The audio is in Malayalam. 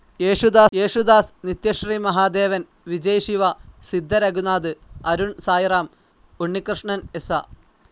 യേശുദാസ്, നിത്യശ്രീ മഹാദേവൻ, വിജയ് ശിവ, സിദ്ധ രഘുനാഥ്, അരുൺ സായിറാം, ഉണ്ണികൃഷ്ണൻ എസ.